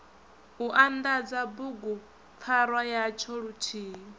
u anḓadza bugupfarwa yatsho luthihi